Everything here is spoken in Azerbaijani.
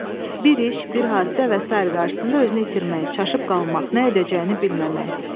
bir iş, bir hadisə və sair qarşısında özünü itirmək, çaşıb qalmaq, nə edəcəyini bilməmək.